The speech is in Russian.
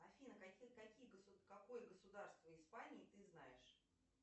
афина какие какое государство испании ты знаешь